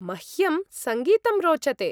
मह्यं सङ्गीतं रोचते।